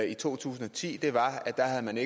i to tusind og ti var at man